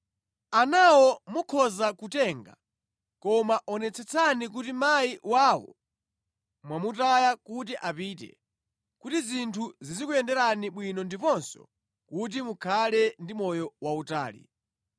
Anawo mukhoza kutenga koma onetsetsani kuti mayi wawo mwamutaya kuti apite, kuti zinthu zizikuyenderani bwino ndiponso kuti mukhale ndi moyo wautali.